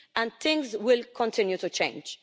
And things will continue to change.